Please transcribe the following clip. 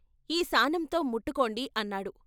ఈ శానంతో ముట్టుకోండి అన్నాడు.